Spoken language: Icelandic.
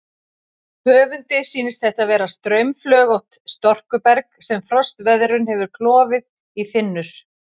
Höfundi sýnist þetta vera straumflögótt storkuberg sem frostveðrun hefur klofið í þynnur.